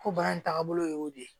Ko baara tagabolo y'o de ye